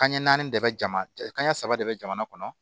Kanɲɛ naani de bɛ jamana kanɲɛ saba de bɛ jamana kɔnɔ